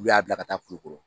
U y'a bila ka taa kulukɔrɔ